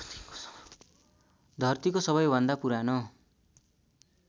धरतीको सबैभन्दा पुरानो